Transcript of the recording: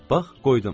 Bax, qoydum.